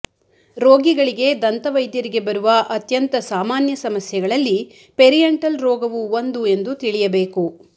ರೋಗಿಗಳಿಗೆ ದಂತವೈದ್ಯರಿಗೆ ಬರುವ ಅತ್ಯಂತ ಸಾಮಾನ್ಯ ಸಮಸ್ಯೆಗಳಲ್ಲಿ ಪೆರಿಯಂಟಲ್ ರೋಗವು ಒಂದು ಎಂದು ತಿಳಿಯಬೇಕು